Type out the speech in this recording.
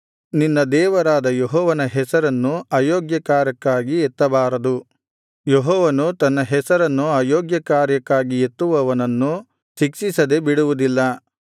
ನಿನ್ನ ದೇವರಾದ ಯೆಹೋವನ ಹೆಸರನ್ನು ಅಯೋಗ್ಯಕಾರ್ಯಕ್ಕಾಗಿ ಎತ್ತಬಾರದು ಯೆಹೋವನು ತನ್ನ ಹೆಸರನ್ನು ಅಯೋಗ್ಯಕಾರ್ಯಕ್ಕಾಗಿ ಎತ್ತುವವನನ್ನು ಶಿಕ್ಷಿಸದೆ ಬಿಡುವುದಿಲ್ಲ